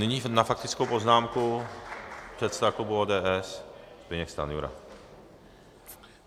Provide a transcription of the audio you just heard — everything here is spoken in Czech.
Nyní na faktickou poznámku předseda klubu ODS Zbyněk Stanjura.